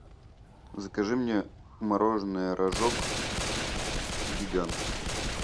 закажи мне мороженое рожок гигант